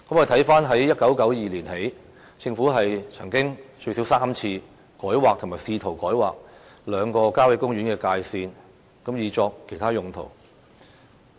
自1992年起，政府曾經最少3次改劃或試圖改劃兩個郊野公園的界線，以作其他用途。